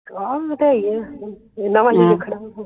ਆ ਵਧਾਯੀ ਆ ਇਨਾਂ ਵੱਲ ਨੀ ਰੱਖਣਾ ਆ